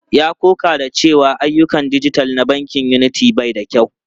Ya ƙoƙa da cewa ayyukan dijital na bankin Unity bai da kyau.